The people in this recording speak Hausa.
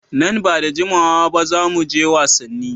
Nan ba da jimawa ba za mu je wasanni.